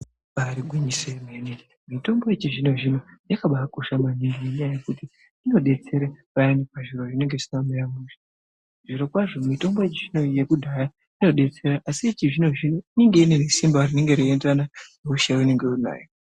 Ibari gwinyiso remene mitombo yechizvino zvino yakabakosha maningi ngekuti inodetsera payani pazviro zvinenge zvisina kumira mushe. Zviro kwazvo mitombo zvechizvino neyekudhaya inodetsera asi yechizvino zvino inenge inesimba inoenderana nehosha yaunenge unayo.